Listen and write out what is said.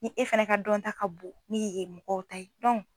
Ni e fana ka dɔnta ka bon ni yen mɔgɔw ta ye